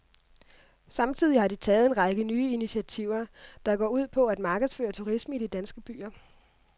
Samtidig har de taget en række nye initiativer, der går ud på at markedsføre turisme i de danske byer.